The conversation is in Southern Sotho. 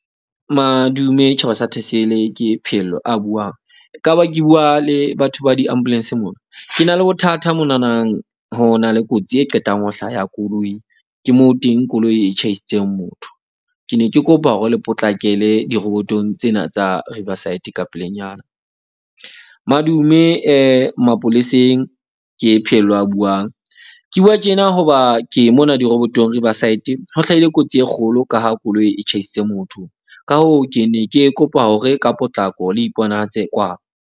Madume tjhaba sa Thesele. Ke Phehello a buang. Ekaba ke bua le batho ba di-ambulance moo. Ke na le bothata monanang. Ho na le kotsi e qetang ho hlaya koloi. Ke moo teng koloi e tjhaisitseng motho. Ke ne ke kopa hore le potlakele dirobotong tsena tsa Riverside ka pelenyana. Madume mapoleseng ke Phehello a buang. Ke bua tjena hoba ke mona dirobotong Riverside. Ho hlahile kotsi e kgolo ka ha koloi e tjhaisitse motho. Ka hoo, ke ne ke kopa hore ka potlako le iponahatse kwano.